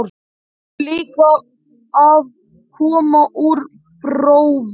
Hún er líka að koma úr prófi.